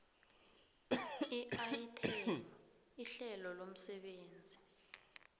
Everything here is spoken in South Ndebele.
iayithemu ihlelo lomsebenzi